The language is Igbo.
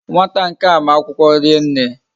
Nwata nkea ma akwukwo rienne